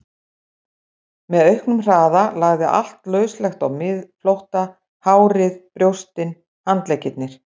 Með auknum hraða lagði allt lauslegt á miðflótta, hárið, brjóstin, handleggirnir.